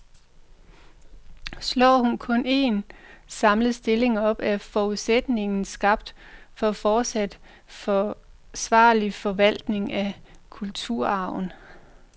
Slår hun kun en, samlet stilling op, er forudsætningen skabt for fortsat forsvarlig forvaltning af kulturarven.